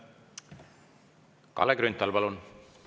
Kalle Grünthal, palun!